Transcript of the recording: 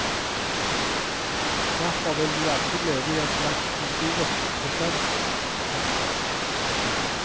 Derfor vil vi alltid leve i en slags historisk presens. punktum